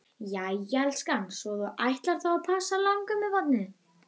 Jæja elskan, svo að þú ætlar þá að passa langömmubarnið?